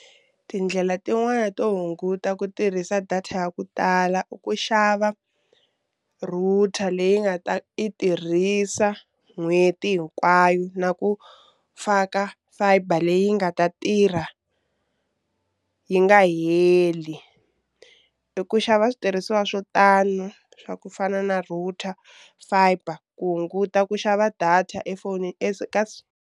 Tindlela tin'wani to hunguta ku tirhisa data ya ku tala i ku xava router leyi nga ta yi tirhisa n'hweti hinkwayo na ku faka fiber leyi yi nga ta tirha yi nga heli i ku xava switirhisiwa swo tani swa ku fana na router fiber ku hunguta ku xava data efonini .